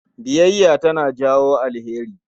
Biyayya tana jawo alheri.